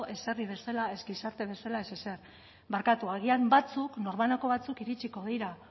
ez herri bezala ez gizarte bezala ez ezer barkatu agian batzuk nor banako batzuk iritziko dira